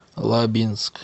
лабинск